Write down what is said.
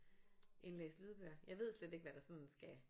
Indlæse lydbøger. Jeg ved slet ikke hvad der sådan skal